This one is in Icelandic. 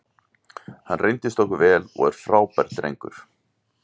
Hann reyndist okkur vel og er frábær drengur.